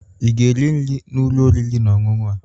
Ị ga-eri nri n'ụlọ oriri na ọṅụṅụ a?